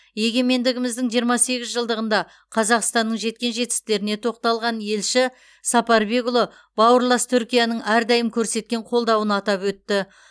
егемендігіміздің жиырма сегіз жылдығында қазақстанның жеткен жетістіктеріне тоқталған елші сапарбекұлы бауырлас түркияның әрдайым көрсеткен қолдауын атап өтті